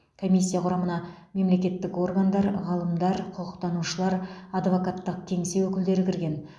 комиссия құрамына мемлекеттік органдар ғалымдар құқықтанушылар адвокаттық кеңсе өкілдері кірген